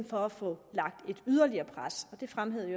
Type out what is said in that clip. for at få lagt et yderligere pres det fremhævede